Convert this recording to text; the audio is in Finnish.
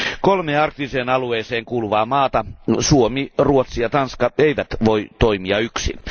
Kolme arktiseen alueeseen kuuluvaa maata, Suomi, Ruotsi ja Tanska, eivät voi toimia yksin.